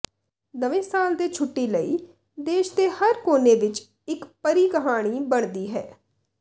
ਨਵੇਂ ਸਾਲ ਦੇ ਛੁੱਟੀ ਲਈ ਦੇਸ਼ ਦੇ ਹਰ ਕੋਨੇ ਵਿਚ ਇਕ ਪਰੀ ਕਹਾਣੀ ਬਣਦੀ ਹੈ